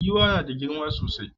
Giwa nada girma sosai